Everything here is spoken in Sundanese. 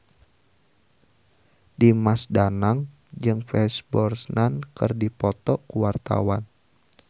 Dimas Danang jeung Pierce Brosnan keur dipoto ku wartawan